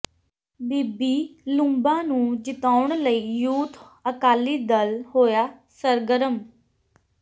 ਬੀਬੀ ਲੂੰਬਾ ਨੂੰ ਜਿਤਾਉਣ ਲਈ ਯੂਥ ਅਕਾਲੀ ਦਲ ਹੋਇਆ ਸਰਗਰਮ